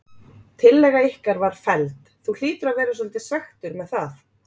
Tillaga ykkar var felld, þú hlýtur að vera svolítið svekktur með það?